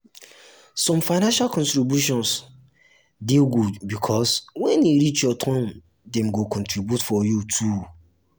some financial contributions contributions de good because when e um reach your turn dem go contribute for you too